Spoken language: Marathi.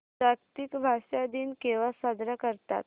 जागतिक भाषा दिन केव्हा साजरा करतात